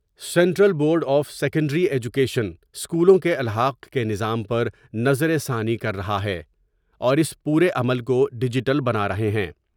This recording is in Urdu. Central board of secondary education اسکولوں کے الحاق کے نظام پر نظر ثانی کر رہا ہے اور اس پورے عمل کو ڈیجیٹل بنار ہے ہیں ۔